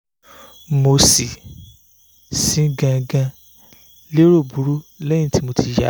mo si si gangan lero buru lẹhin ti mo ti ya